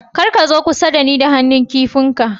Kar ka zo kusa na ni da han'nu kipi ka